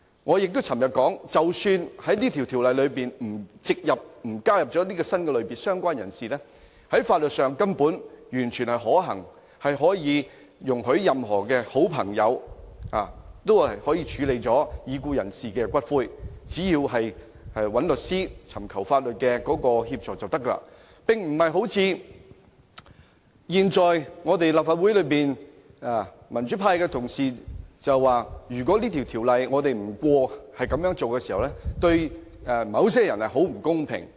我昨天也表示，即使《條例草案》沒有加入"相關人士"這個新類別，有關安排在法律上根本完全可行，可以容許任何好朋友處理已故人士的骨灰，只要聯絡律師和尋求法律協助，便沒有問題，並非如立法會內民主派議員所說，如果這項修正案不獲通過，對某些人很不公平。